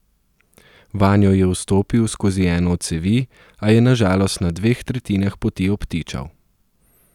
Vanjo je vstopil skozi eno od cevi, a je na žalost na dveh tretjinah poti obtičal.